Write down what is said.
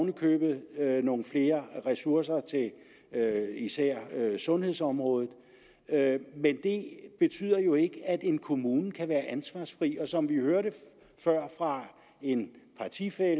i købet nogle flere ressourcer til især sundhedsområdet men det betyder jo ikke at en kommune kan være ansvarsfri som vi hørte før fra en partifælle